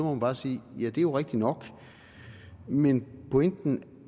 man bare sige det er jo rigtig nok men pointen